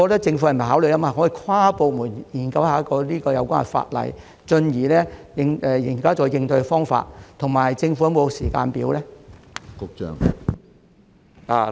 政府是否可以考慮跨部門研究有關法例，進而採納應對方法，以及政府是否有時間表呢？